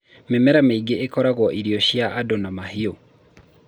mĩmera mĩingĩ ĩkoragwo irio cia andũ na mahiũ